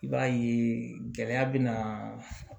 I b'a ye gɛlɛya bɛ na